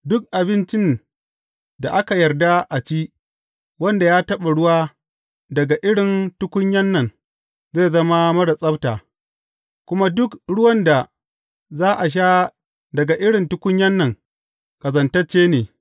Duk abincin da aka yarda a ci, wanda ya taɓa ruwa daga irin tukunyan nan zai zama marar tsabta, kuma duk ruwan da za a sha daga irin tukunyan nan ƙazantacce ne.